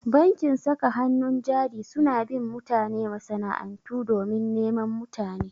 Bankin saka hannun jari suna bin mutane masana'antu domin neman mutane.